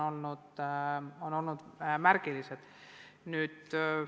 See on olnud märgiline.